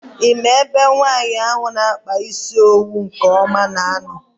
I maara ebe nwaanyị ahụ na -akpa isi owu nke ọma na -ano?